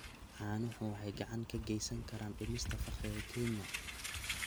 Caanuhu waxay gacan ka geysan karaan dhimista faqriga Kenya.